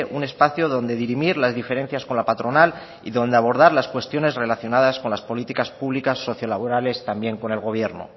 un espacio donde dirimir las diferencias con la patronal y donde abordar las cuestiones relacionadas con las políticas públicas socio laborales también con el gobierno